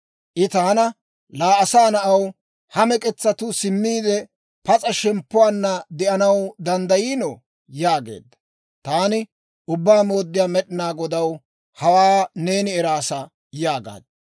I taana, «Laa asaa na'aw, ha mek'etsatuu simmiide, pas'a shemppuwaanna de'anaw danddayiinoo?» yaageedda. Taani, «Ubbaa Mooddiyaa Med'inaa Godaw, hawaa neeni eraasa» yaagaad.